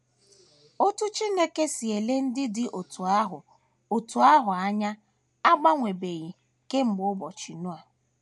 Otú Chineke si ele ndị dị otú ahụ otú ahụ anya agbanwebeghị kemgbe ụbọchị Noa.